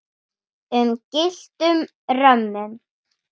um gylltum römmum.